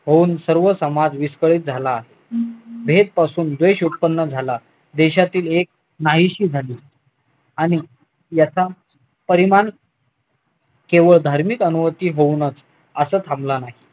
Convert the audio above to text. सर्व समाज विस्कळीत झाला आहे भेद पासून द्वेष उत्पन्न झाला देशातील एक नाहीशी झाली आणि याचा परिमाण केवळ धार्मिक होऊनच असा थांबला नाही